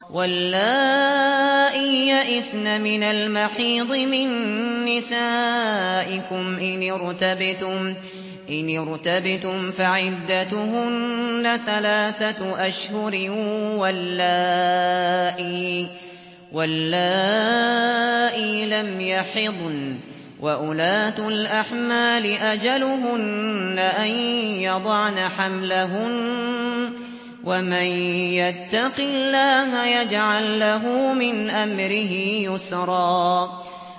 وَاللَّائِي يَئِسْنَ مِنَ الْمَحِيضِ مِن نِّسَائِكُمْ إِنِ ارْتَبْتُمْ فَعِدَّتُهُنَّ ثَلَاثَةُ أَشْهُرٍ وَاللَّائِي لَمْ يَحِضْنَ ۚ وَأُولَاتُ الْأَحْمَالِ أَجَلُهُنَّ أَن يَضَعْنَ حَمْلَهُنَّ ۚ وَمَن يَتَّقِ اللَّهَ يَجْعَل لَّهُ مِنْ أَمْرِهِ يُسْرًا